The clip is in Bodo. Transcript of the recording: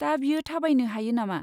दा बियो थाबायनो हायो नामा?